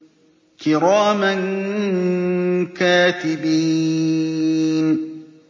كِرَامًا كَاتِبِينَ